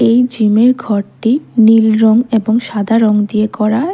এই জিমের ঘরটি নীল রঙ এবং সাদা রঙ দিয়ে করা।